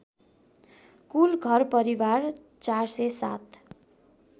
कुल घरपरिवार ४०७